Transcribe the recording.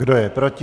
Kdo je proti?